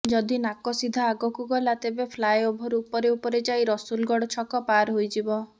ଯଦି ନାକ ସିଧା ଆଗକୁ ଗଲା ତେବେ ଫ୍ଲାଏଓଭର୍ ଉପରେ ଉପରେ ଯାଇ ରସୁଲଗଡ଼ ଛକ ପାର୍ ହୋଇଯିବ